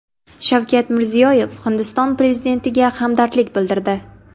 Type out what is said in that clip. Shavkat Mirziyoyev Hindiston prezidentiga hamdardlik bildirdi.